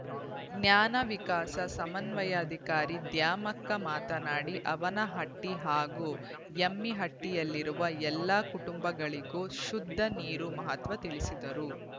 ಜ್ಞಾನ ವಿಕಾಸ ಸಮನ್ವಯಾಧಿಕಾರಿ ದ್ಯಾಮಕ್ಕ ಮಾತನಾಡಿ ಅವಿನಹಟ್ಟಿ ಹಾಗೂ ಎಮ್ಮಿಹಟ್ಟಿಯಲ್ಲಿರುವ ಎಲ್ಲಾ ಕುಟುಂಬಗಳಿಗೂ ಶುದ್ದ ನೀರು ಮಹತ್ವ ತಿಳಿಸಿದರು